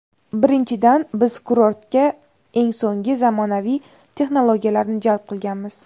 Birinchidan, Biz kurortga eng so‘ngi zamonaviy texnologiyalarni jalb qilganmiz.